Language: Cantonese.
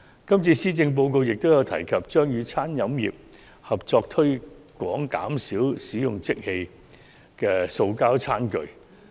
今年的施政報告亦有提及與餐飲業合作推廣減少使用即棄塑膠餐具。